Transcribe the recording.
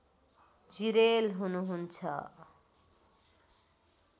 जिरेल हुनुहुन्छ